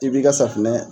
I b'i ka safunɛ